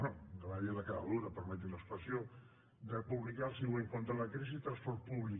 bé anava a dir la cara dura permeti’m l’expressió de publicar el següent contra la crisi transport públic